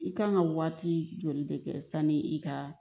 I kan ka waati joli de kɛ sani i ka